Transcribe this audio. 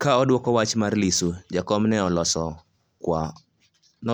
Ka odwoko wach mar Lissu, Jakom ne